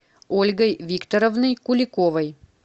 ольгой викторовной куликовой